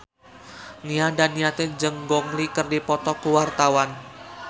Nia Daniati jeung Gong Li keur dipoto ku wartawan